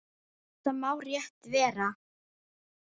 Það má rétt vera.